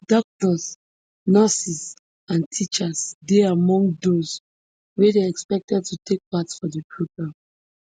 doctors nurses and teachers dey among those wey dey expected to take part for di programme